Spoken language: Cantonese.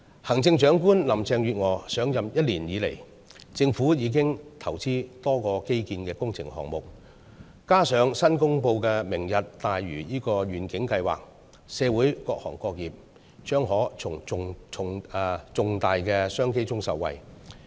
行政長官林鄭月娥上任一年來，政府已投資多個基建工程項目，再加上新公布的"明日大嶼"計劃，社會各行各業將可從重大商機中受惠。